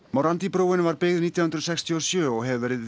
morandi brúin var byggð nítján hundruð sextíu og sjö og hefur verið